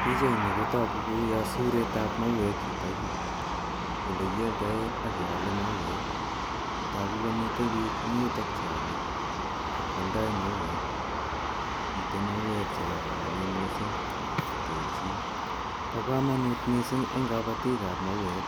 Pichaini kotaku kou ni siret ap mauek yutayu ole kialdaen ak keale mauek. Tagu komiten piik che eng' yutok che ale ak koaldai mauek. Miten mauek che kararanen missing'che terchin. Pa kamanut missing' eng' kapatik ap mauek